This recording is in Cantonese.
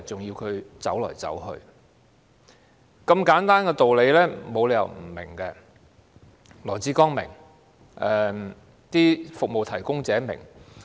如此簡單的道理，我們沒有理由不明白，羅致光是明白的，而服務提供者也明白。